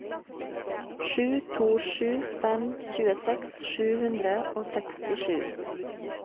sju to sju fem tjueseks sju hundre og sekstisju